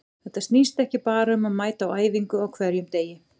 Þetta snýst ekki bara um að mæta á æfingu á hverjum degi.